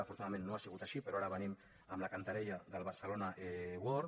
afortunadament no ha sigut així però ara venim amb la cantarella del barcelona world